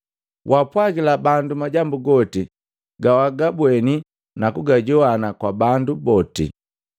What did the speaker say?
‘Waapwagila bandu majambu goti gawagabweni na kugajowana kwa bandu boti.